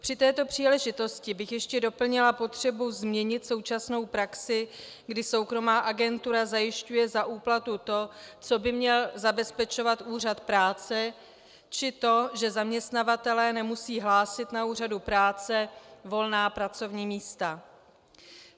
Při této příležitosti bych ještě doplnila potřebu změnit současnou praxi, kdy soukromá agentura zajišťuje za úplatu to, co by měl zabezpečovat úřad práce, či to, že zaměstnavatelé nemusí hlásit na úřad práce volná pracovní místa.